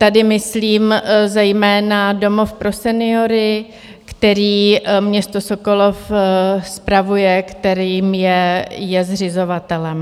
Tady myslím zejména domov pro seniory, který město Sokolov spravuje, kterým je zřizovatelem.